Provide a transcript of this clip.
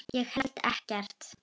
Ég held ekkert.